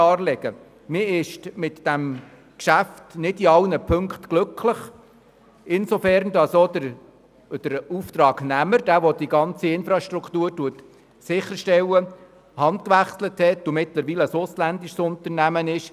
Man ist mit diesem Geschäft nicht in allen Punkten glücklich, insofern als der Auftragnehmer, der die ganze Infrastruktur sicherstellt, die Hand gewechselt hat und mittlerweile ein ausländisches Unternehmen ist.